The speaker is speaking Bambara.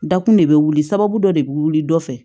Dakun de bɛ wuli sababu dɔ de bɛ wuli dɔ fɛ